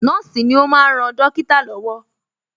Nọ́ọ̀sì ni ó máa ń ran dọ́kítà lọ́wọ́